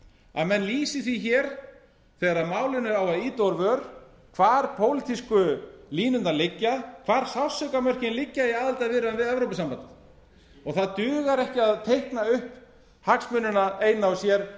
að menn lýsi því hér þegar málinu á að ýta úr vör hvar pólitísku línurnar liggja hvar sársaukamörkin liggja í aðildarviðræðum við evrópusambandið og það dugar ekki að teikna upp hagsmunina eina og sér